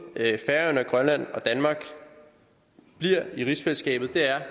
at færøerne grønland og danmark bliver i rigsfællesskabet er